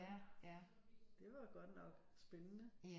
Det var godt nok spændende